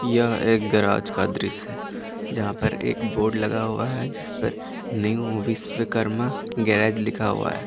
यह एक गैराज का दृश्य है जहां पर एक बोर्ड लगा हुआ है जिस पर न्यू विश्वकर्मा गेराज लिखा हुआ है।